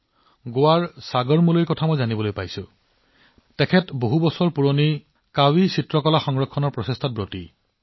মই গোৱাৰ সাগৰ মুলেজীৰ প্ৰচেষ্টাৰ বিষয়েও শিকিছো যি য়ে শ শ বছৰ পুৰণি কাভি চিত্ৰক বিলুপ্তিৰ পৰা ৰক্ষা কৰিবলৈ চেষ্টা কৰি আছে